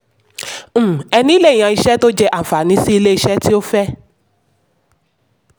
um ẹni lè yan iṣẹ́ tó jẹ́ anfàní sí ilé-iṣẹ́ tí ó fẹ́.